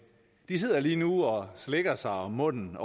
de sidder lige nu ovre slikker sig om munden